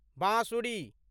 बाँसुरी